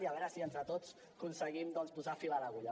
i a veure si entre tots aconseguim doncs posar fil a l’agulla